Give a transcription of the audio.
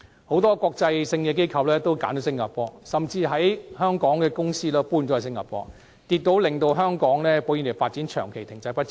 很多國際機構都選擇在新加坡落戶，甚至一些原本設於香港的公司也搬遷到新加坡，令香港保險業發展長期停滯不前。